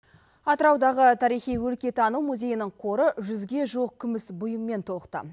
атыраудағы тарихи өлкетану музейінің қоры жүзге жуық күміс бұйыммен толықты